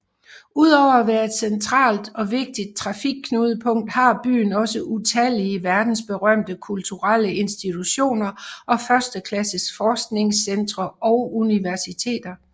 Udover at være et centralt og vigtigt trafikknudepunkt har byen også utallige verdensberømte kulturelle institutioner og førsteklasses forskningscentre og universiteter